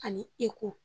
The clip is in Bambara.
Ani eko